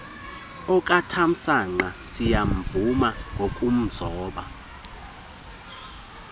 okatamsanqa siyamvuma ngokumzoba